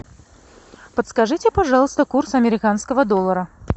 подскажите пожалуйста курс американского доллара